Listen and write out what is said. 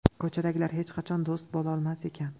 Ko‘chadagilar hech qachon do‘st bo‘lolmas ekan.